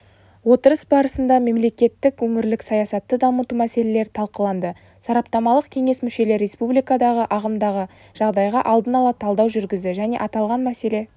отырыс барысында мемлекеттік өңірлік саясатты дамыту мәселелері талқыланды сараптамалық кеңес мүшелері республикадағы ағымдағы жағдайға алдын ала талдау жүргізді және аталған мәселе